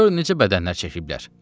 Gör necə bədənlər çəkiblər.